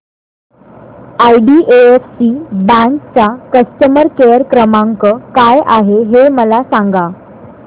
IDFC bank चा customer care क्रमांक काय आहे हे मला सांगा